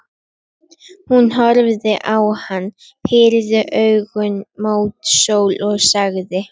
Hún horfði á hann, pírði augun mót sól og sagði: